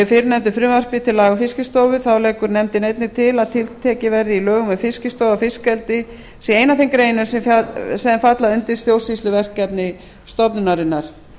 fyrrnefndu frumvarpi til laga um fiskistofu þá leggur nefndin einnig til að tiltekið verði í lögum um fiskistofu að fiskeldi sé ein af þeim greinum sem falla undir stjórnsýsluverkefni stofnunarinnar